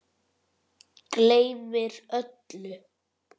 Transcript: Gleymir öllu.